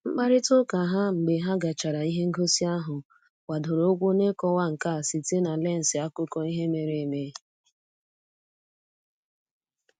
Mkparịta ụka ha mgbe ha gachara ihe ngosi ahụ gbadoro ụkwụ n'ịkọwa nka site na lensị akụkọ ihe mere eme